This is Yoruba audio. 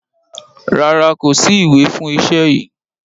Rárá, kò sí ìwé fún iṣẹ́ yìí.